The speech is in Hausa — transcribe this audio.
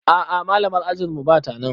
A'a malamar ajinmu batanan